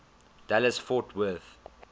dallas fort worth